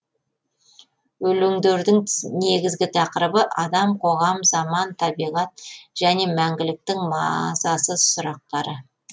өлеңдердің негізгі тақырыбы адам қоғам заман табиғат және мәңгіліктің мазасыз сұрақтары